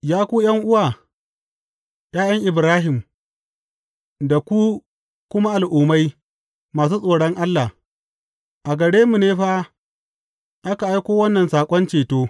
Ya ku ’yan’uwa, ’ya’yan Ibrahim, da ku kuma Al’ummai masu tsoron Allah, a gare mu ne fa aka aiko wannan saƙon ceto.